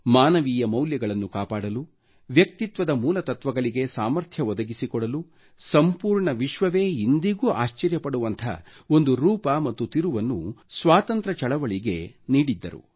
ಮಾನವೀಯ ಮೌಲ್ಯಗಳನ್ನು ಕಾಪಾಡಲು ವ್ಯಕ್ತಿತ್ವದ ಮೂಲ ತತ್ವಗಳಿಗೆ ಸಾಮರ್ಥ್ಯ ಒದಗಿಸಿಕೊಡಲು ಸಂಪೂರ್ಣ ವಿಶ್ವವೇ ಇಂದಿಗೂ ಆಶ್ಚರ್ಯಪಡುವಂಥ ಒಂದು ರೂಪ ಮತ್ತು ತಿರುವನ್ನು ಸ್ವಾತಂತ್ರ್ಯ ಚಳವಳಿಗೆ ನೀಡಿದ್ದರು